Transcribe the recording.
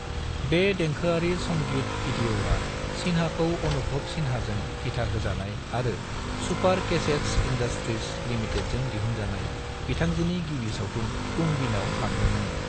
बे देंखोआरि संगीत वीडियआ सिन्हाखौ अनुभव सिन्हाजों दिथाहोजानाय आरो सुपर कैसेटस इंडस्ट्रीज लिमिटेडजों दिहुनजानाय बिथांजोनि गिबि सावथुन तुम बिनाव लांदोंमोन।